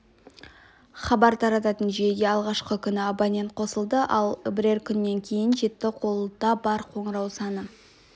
хабар тарататын жүйеге алғашқы күні абонент қосылды ал бірер күннен кейін жетті қолда бар қоңырау саны